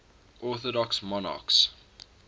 orthodox monarchs